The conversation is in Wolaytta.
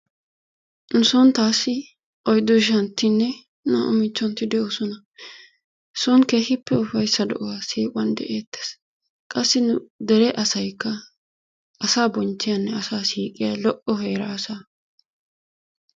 Nu soon taassi oyddu ishshantinne naa''u michchontti de'oosna. soon keehippe ufayssa de'uwaa siiquwan de''eettees. qassi nu dere asaykka asaa bonchchiyanne asa siiqiya lo''o heera asaa.